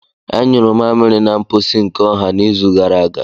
Anyị nyuru mmamịrị na mposi nke ọha n'izu gara aga.